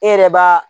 E yɛrɛ b'a